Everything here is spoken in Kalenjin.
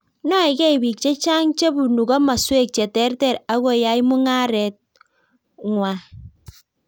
Noekei bik che chang che bunu komoswek che terter akoyai mungaret bgwai